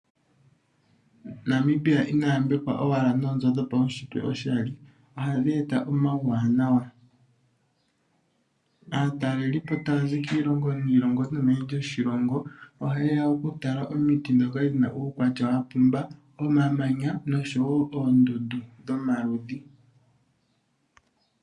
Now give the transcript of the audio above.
Namibia ina yambekwa owala noonzo dhopaunshitwe oshali .Ohadhi eta omauwanawa aatalelipo taya zi kiilongo niilongo nomeni lyoshilongo. Oha yeya okutala omiti ndhoka dha pumba. Omamanya nosho oondundu dhomaludhi.